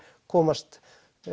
komast